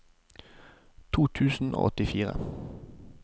to tusen og åttifire